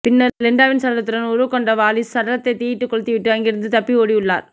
பின்னர் லிண்டாவின் சடலத்துடன் உறவு கொண்ட வாலிஸ் சடலத்தை தீயிட்டு கொளுத்திவிட்டு அங்கிருந்து தப்பியோடியுள்ளார்